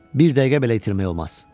Bir dəqiqə belə itirmək olmaz.